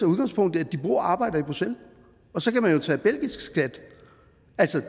udgangspunkt i at de bor og arbejder i bruxelles og så kan man jo tage belgisk skat